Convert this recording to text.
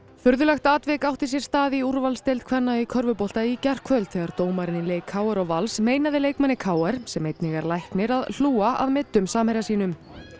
furðulegt atvik átti sér stað í úrvalsdeild kvenna í körfubolta í gærkvöld þegar dómari í leik k r og Vals meinaði leikmanni k r sem einnig er læknir að hlúa að meiddum samherja sínum